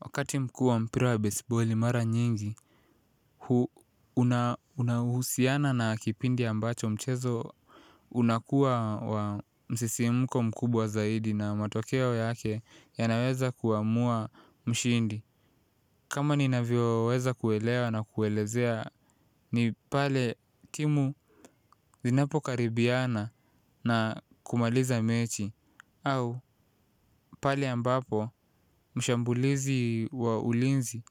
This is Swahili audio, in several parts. Wakati mkuu wa mpira wa baseballi mara nyingi, unahusiana na kipindi ambacho mchezo unakua wa msisimko mkubwa zaidi na matokeo yake yanaweza kuamua mshindi. Kama ni navyo weza kuelewa na kuelezea, ni pale timu zinapo karibiana na kumaliza mechi. Au pale ambapo mshambulizi wa ulinzi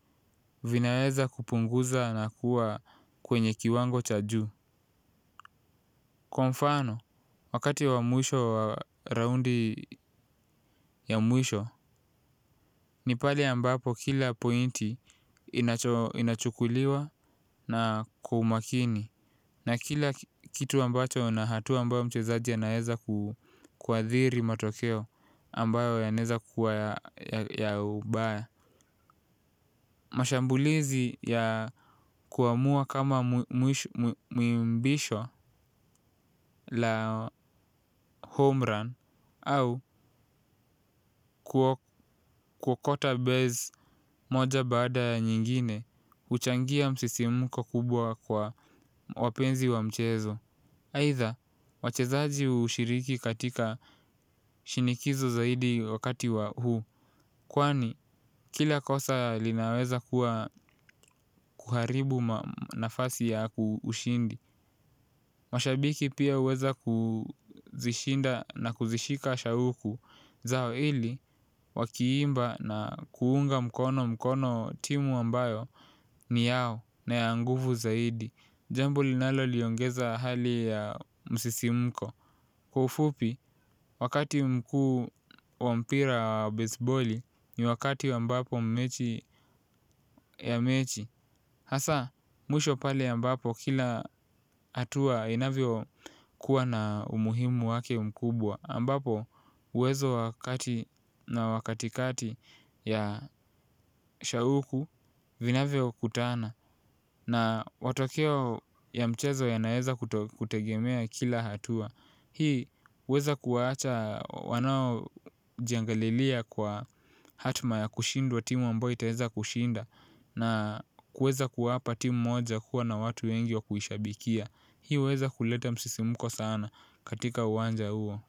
vinaweza kupunguza na kuwa kwenye kiwango cha juu. Kwa mfano, wakati wa mwisho wa raundi ya mwisho, ni pale ambapo kila pointi inachukuliwa na kwa umakini. Na kila kitu ambacho na hatua ambayo mchezaji anaweza kuadhiri matokeo ambayo yanaeza kuwa ya ubaya. Mashambulizi ya kuamua kama mwimbisho la homerun au kuokota base moja bada nyingine huchangia msisimuko kubwa kwa wapenzi wa mchezo. Aitha, wachezaji hushiriki katika shinikizo zaidi wakati wa huu. Kwani, kila kosa linaweza kuwa kuharibu nafasi ya ku ushindi. Mashabiki pia huweza kuzishinda na kuzishika shauku zao ili, wakiimba na kuunga mkono mkono timu ambayo ni yao na ya nguvu zaidi. Jambo linaloliongeza hali ya msisimko. Kwa ufupi, wakati mkuu wa mpira baseboli ni wakati ambapo mechi ya mechi hasaa, mwisho pale ambapo kila hatua inavyokuwa na umuhimu wake mkubwa ambapo, uwezo wa kati na wa katikati ya shauku vinavyo kutana na watokeo ya mchezo yanaeza kutegemea kila hatua. Hii huweza kuwaacha wanaojiangalilia kwa hatma ya kushindwa timu ambayo itaweza kushinda na kuweza kuwapa timu moja kuwa na watu wengi wa kuishabikia. Hii huweza kuleta msisimuko sana katika uwanja huo.